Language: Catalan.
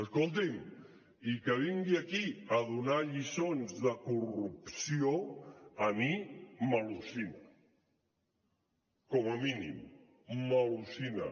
escolti’m i que vingui aquí a donar lliçons de corrupció a mi m’al·lucina com a mínim m’al·lucina